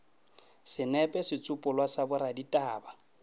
senepe setsopolwa sa boraditaba bj